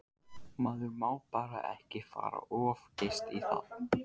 Maður má bara ekki fara of geyst í það.